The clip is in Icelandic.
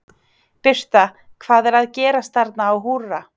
Birta, hvað er að gerast þarna á Húrra?